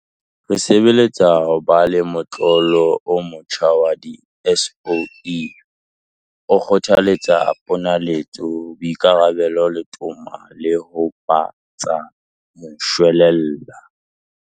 Re sebeletsa ho ba le motlolo o motjha wa di-SOE o kgothaletsang ponaletso, boikarabelo tse toma le ho ba tsa moshwelella.